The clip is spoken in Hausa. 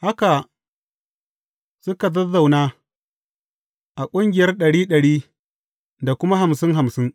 Haka suka zazzauna a ƙungiyar ɗari ɗari, da kuma hamsin hamsin.